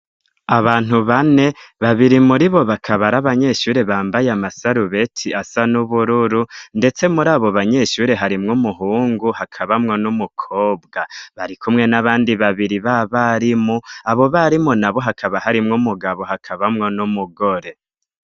Abantu bane, babiri muri bo baka ari abanyeshure bambaye amasarubeti asa n'ubururu, ndetse muri abo banyeshure harimwo umuhungu hakabamwo n'umukobwa bari kumwe n'abandi babiri b'abarimu. Abo barimu nabo hakaba harimwo umugabo, hakabamwo n'umugore.